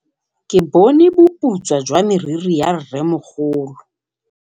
Ke bone boputswa jwa meriri ya rrêmogolo.